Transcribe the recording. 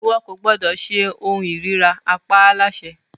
Iwọ ko gbọdọ ṣe ohun irira! a pa á láṣẹ